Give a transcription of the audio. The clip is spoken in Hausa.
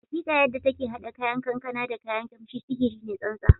Hakika! Yadda take hada 'ya'yan kankana da kayan kamshi, sihiri ne tsantsa